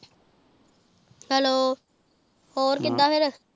hello ਹੋਰ ਕਿੱਦਾਂ ਫਿਰ